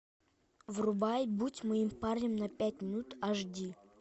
врубай будь моим парнем на пять минут аш ди